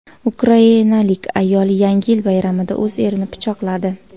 Ukrainalik ayol Yangi yil bayramida o‘z erini pichoqladi.